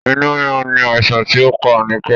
Inú rírun ni àìsàn ti o pá Anike